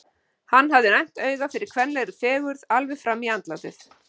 Hann hafði næmt auga fyrir kvenlegri fegurð alveg fram í andlátið!